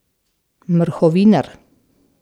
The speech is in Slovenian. Mrhovinar.